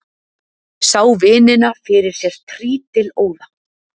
Sá vinina fyrir sér trítilóða.